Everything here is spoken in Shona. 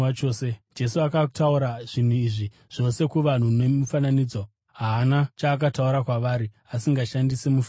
Jesu akataura zvinhu izvi zvose kuvanhu nemifananidzo. Haana chaakataura kwavari asingashandisi mifananidzo.